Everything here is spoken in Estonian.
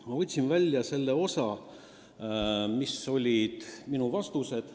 Ma võtsin stenogrammist välja selle osa, mis olid minu vastused.